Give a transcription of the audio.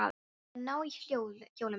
Ég var að ná í hjólið mitt.